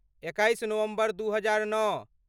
एकैस नवम्बर दू हजार नओ